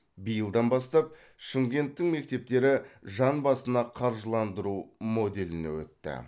биылдан бастап шымкенттің мектептері жан басына қаржыландыру моделіне өтті